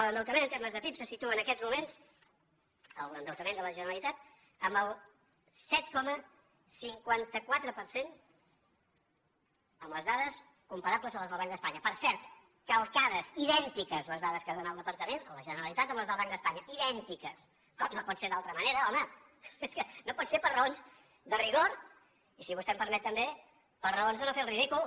l’endeutament en termes de pib se situa en aquests moments l’endeutament de la generalitat en el set coma cinquanta quatre per cent amb les dades comparables a les del banc d’espanya per cert calcades idèntiques les dades que ha donat el departament la generalitat amb les del banc d’espanya idèntiques com no pot ser d’altra manera home es que no pot ser per raons de rigor i si vostè em permet també per raons de no fer el ridícul